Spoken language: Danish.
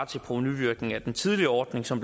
til provenuvirkningen af den tidligere ordning som